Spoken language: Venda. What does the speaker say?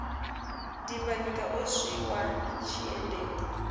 dimbanyika o swi wa tshiendeulu